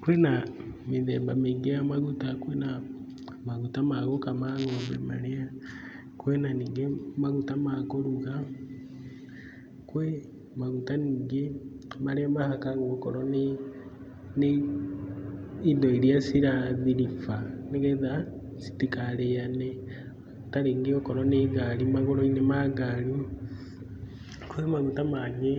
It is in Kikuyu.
Kwĩ na mĩthemba mĩingĩ ya maguta; kwĩna maguta ma gũkama ng'ombe marĩa, kwĩna ningĩ maguta ma kũruga, kwĩna maguta ningĩ marĩa mahakagwo okorwo nĩ indo irĩa cirathiriba, nĩgetha citikarĩane ta rĩngĩ okorwo ni ngari, magũrũ-inĩ ma ngari. Kwĩ maguta mangĩ